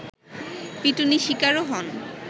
পিটুনি শিকারও হন